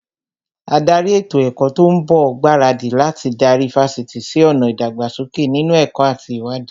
Ádárì ètò ẹ̀kọ́ tó ń bọ̀ ń gbaradì láti darí Fásitì sí ọ̀nà ìdàgbàsókè nínú ẹ̀kọ́ àti ìwádìí